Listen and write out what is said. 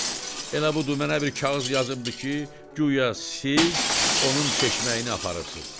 Heç, elə budur mənə bir kağız yazıbdı ki, guya siz onun çeşməyini aparıbsınız.